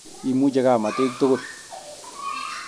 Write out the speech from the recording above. Imuche kamatik tugul